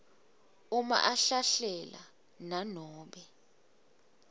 uma ahlahlela nanobe